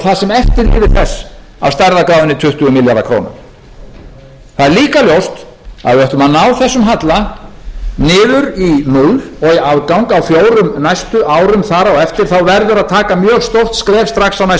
það sem eftir lifir þess af stærðargráðunni tuttugu milljarðar króna það er líka ljóst að ef við ætlum að ná þessum halla niður í núll og eiga afgang á fjórum næstu árum þar á eftir þá verður að taka mjög stórt skref á næsta ári segjum